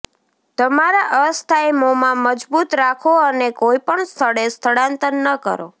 તમારા અસ્થાયમોમાં મજબૂત રાખો અને કોઈ પણ સ્થળે સ્થળાંતર ન કરો